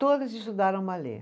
Todas estudaram balê.